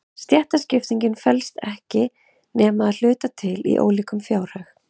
Stéttaskiptingin felst ekki nema að hluta til í ólíkum fjárhag.